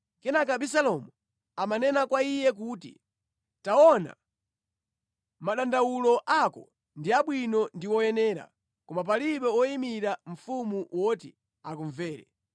Kenaka Abisalomu amanena kwa iye kuti, “Taona, madandawulo ako ndi abwino ndi oyenera, koma palibe woyimira mfumu woti akumvere.”